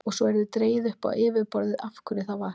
Og svo yrði dregið upp á yfirborðið af hverju það var.